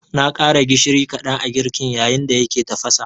Na ƙara gishiri kaɗan a girkin, yayin da yake tafasa